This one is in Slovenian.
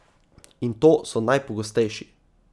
In to so najpogostejši.